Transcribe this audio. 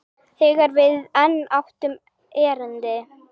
Þegar við enn áttum erindi.